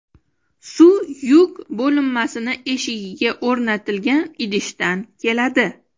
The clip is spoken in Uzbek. Suv yuk bo‘linmasining eshigiga o‘rnatilgan idishdan keladi.